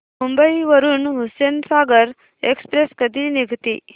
मुंबई वरून हुसेनसागर एक्सप्रेस कधी निघते